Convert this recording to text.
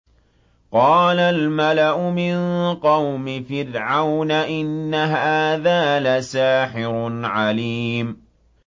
قَالَ الْمَلَأُ مِن قَوْمِ فِرْعَوْنَ إِنَّ هَٰذَا لَسَاحِرٌ عَلِيمٌ